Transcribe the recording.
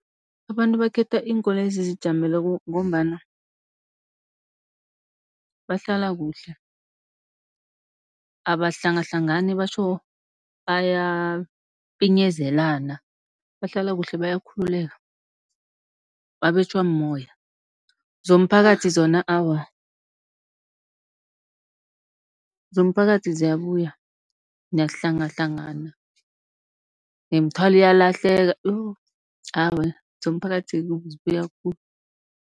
Abantu bakhetha iinkoloyi ezizijameleko, ngombana bahlala kuhle abahlangahlangani batjho bayapinyezelana. Bahlala kuhle bayakhululeka babetjhwa mumoya. Zomphakathi zona awa, zomphakathi ziyabuya niyahlangahlangana nemithwalo iyalahleka yo! awa zomphakathi zibuya khulu.